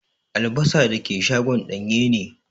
Albasa dake shagon danye ne.